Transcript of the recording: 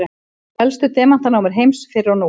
helstu demantanámur heims fyrr og nú